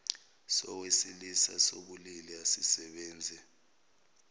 sowesilisa sobulili asisebenzi